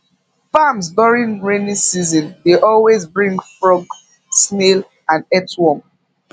farms during rainy season dey always bring frog snail and earthworm